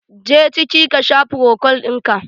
Je ciki ka sha frokol ɗinka!